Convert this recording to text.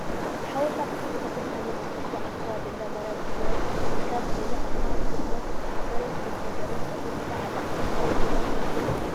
ሓወልቲ ኣክሱም አንዳተባሃለት ትፅዋዕ ኣብ ከበቢ እንዳማርያም ፅዮም ትርከብ ኮይና እታ ብቁመት ዝሓፀረት ከይተሰበረት ጠጠው ኢላ ኣላ ካሎት ድማ ተሰባቢረን ኣለዋ።